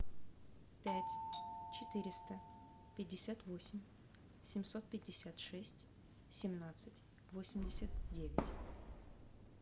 пять четыреста пятьдесят восемь семьсот пятьдесят шесть семнадцать восемьдесят девять